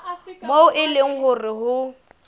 moo e leng hore ho